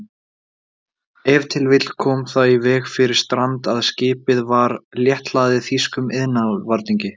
Ef til vill kom það í veg fyrir strand, að skipið var létthlaðið þýskum iðnvarningi.